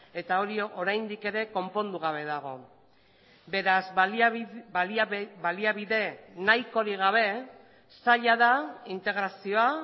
eta hori oraindik ere konpondu gabe dago beraz baliabide nahikorik gabe zaila da integrazioa